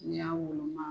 N'i y'a woloma